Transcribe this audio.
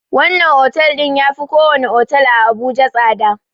Wannan otel ɗin yafi ko wani otel a abuja tsada